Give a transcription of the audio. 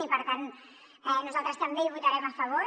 i per tant nosaltres també hi votarem a favor